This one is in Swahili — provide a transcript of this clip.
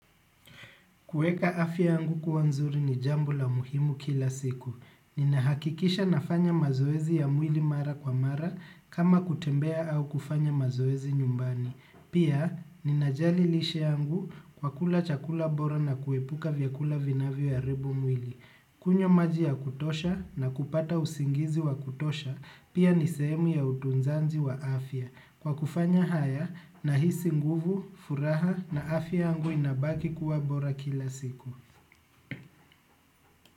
Kuweka afya yangu kuwa nzuri ni jambo la muhimu kila siku. Ninahakikisha nafanya mazoezi ya mwili mara kwa mara kama kutembea au kufanya mazoezi nyumbani. Pia, ninajali lishe yangu kwa kula chakula bora na kuepuka vyakula vinavyoharibu mwili. Kunywa maji ya kutosha na kupata usingizi wa kutosha, pia ni sehemu ya utunzaji wa afya. Kwa kufanya haya nahisi nguvu, furaha na afya yangu inabaki kuwa bora kila siku.